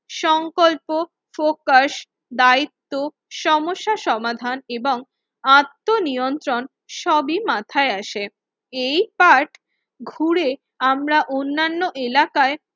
সংকল্প ফোকাস দায়িত্ব সমস্যা সমাধান এবং আত্ম নিয়ন্ত্রণ সবই মাথায় আসে। এই পাঠ ঘুরে আমরা অন্যান্য এলাকায়